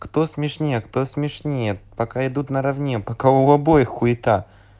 кто смешнее кто смешнее пока идут наравне пока у обоих хуита